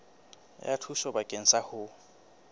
ya thuso bakeng sa ho